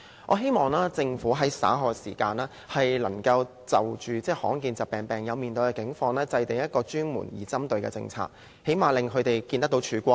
我希望政府稍後能夠就罕見疾病病友面對的困難，制訂專門而具針對性的政策，起碼讓他們看得到曙光。